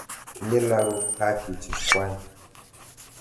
Tinye lagok haki chekwai.